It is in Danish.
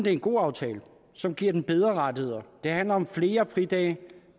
er en god aftale som giver dem bedre rettigheder det handler om flere fridage